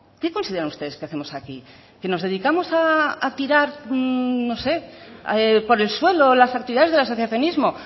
qué consideran ustedes que hacemos aquí que nos dedicamos a tirar no sé por el suelo las actividades del asociacionismo